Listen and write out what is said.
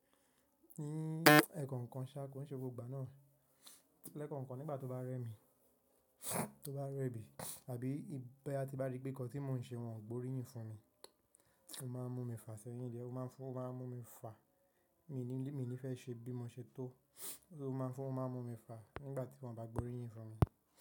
Ní ẹ̀ẹ̀kọ̀kan ṣá, kò n ṣe gbogbo ìgbà náà. Lẹ́ẹ̀kọ̀kan nígbà tó bá rẹ mi, tó bá rẹ bí, tàbí bí a ti bá rí pé nǹkan tí mò ń ṣe wọ́n ò ń gbóríyìn fún mi, ó máa ń mú mi fà sẹ́yìn diẹ̀, ó má ń mú mi fà. Mi ní, mi ní fẹ́ ṣe bí mò ń ṣe tó, ó má ń mú mi fà nígbà tí wọ́n ò bá gbóríyìn fún mi.